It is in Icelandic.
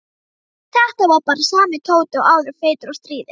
Þetta var bara sami Tóti og áður, feitur og stríðinn.